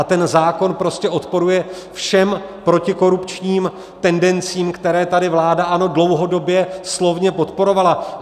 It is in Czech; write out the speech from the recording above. A ten zákon prostě odporuje všem protikorupčním tendencím, které tady vláda ANO dlouhodobě slovně podporovala.